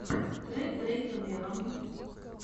трек дрейка вево